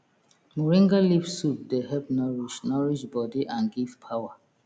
moringa leaf soup dey help nourish nourish body and give power